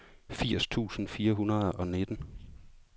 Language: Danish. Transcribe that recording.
firs tusind fire hundrede og nitten